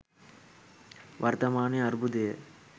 වර්තමාන අර්බුදය